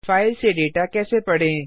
file में data कैसे पढें160